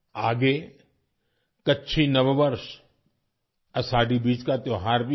आगे कच्छी नववर्ष - आषाढी बीज का त्योहार भी है